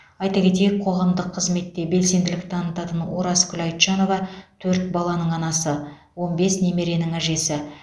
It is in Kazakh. айта кетейік қоғамдық қызметте белсенділік танытатын оразкүл айтжанова төрт баланың анасы он бес немеренің әжесі